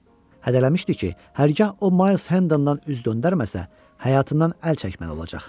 Hədələmişdi ki, hərgah o Mayls Hendendən üz döndərməsə, həyatından əl çəkməli olacaq.